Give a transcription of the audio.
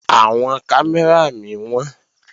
Àwọn kámẹ́rà mí wọ́n